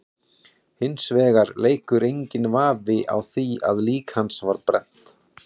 Hins vegar leikur enginn vafi á því að lík hans var brennt.